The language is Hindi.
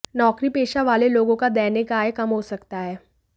नौकरीपेशा वाले लोगों का दैनिक आय कम हो सकता है